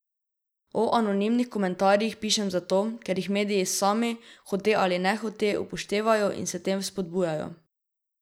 O anonimnih komentarjih pišem zato, ker jih mediji sami, hote ali nehote, upoštevajo in s tem vzpodbujajo.